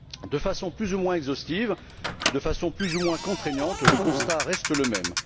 De façon plus ou moins exhaustive, de façon plus ou moins contraignante, le constat reste le même.